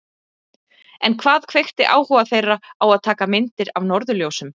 En hvað kveikti áhuga þeirra á að taka myndir af norðurljósum?